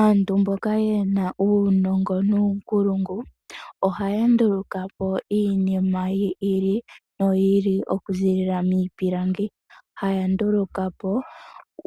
Aantu mboka ye na uunongo nuunkulungu, ohaya ndulukapo iinima yi ili no yi ili okuziilila miipilangi, haya ndulukapo